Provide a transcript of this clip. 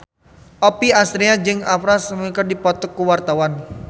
Oppie Andaresta jeung Oprah Winfrey keur dipoto ku wartawan